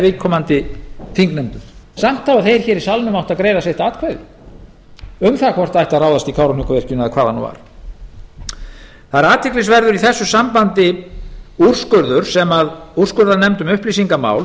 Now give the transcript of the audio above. viðkomandi þingnefndum samt hafa þeir hér í salnum átt að greiða sitt atkvæði um það hvort það ætti að ráðast í kárahnjúkavirkjun eða hvað það nú var það er athyglisverður í þessu sambandi úrskurður sem úrskurðarnefnd um upplýsingamál